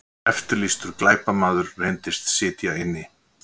Eftirlýstur glæpamaður reyndist sitja inni